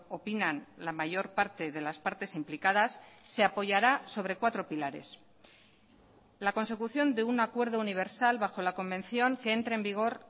opinan la mayor parte de las partes implicadas se apoyará sobre cuatro pilares la consecución de un acuerdo universal bajo la convención que entre en vigor